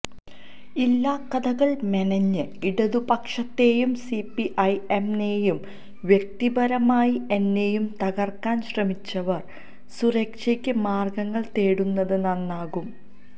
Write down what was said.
ഇല്ലാകഥകൾ മെനഞ്ഞ് ഇടതുപക്ഷത്തെയും സിപിഐ എം നെയും വ്യക്തിപരമായി എന്നെയും തകർക്കാൻ ശ്രമിച്ചവർ സ്വരക്ഷക്ക് മാർഗ്ഗങ്ങൾ തേടുന്നത് നന്നാകും